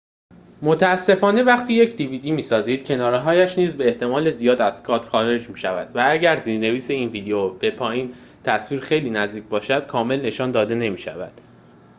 متأسفانه وقتی یک dvd می‌سازید کناره‌هایش نیز به احتمال زیاد از کادر خارج می‌شود و اگر زیرنویس این ویدئو به پایین تصویر خیلی نزدیک باشد کامل نشان داده نمی‌شوند